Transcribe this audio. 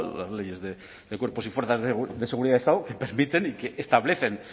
las leyes de cuerpos y fuerzas de seguridad del estado que permiten y que establecen